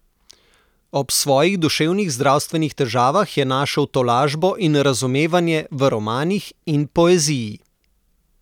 Ob svojih duševnih zdravstvenih težavah je našel tolažbo in razumevanje v romanih in poeziji.